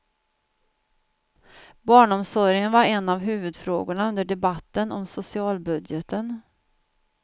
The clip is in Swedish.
Barnomsorgen var en av huvudfrågorna under debatten om socialbudgeten.